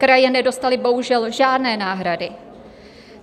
Kraje nedostaly bohužel žádné náhrady.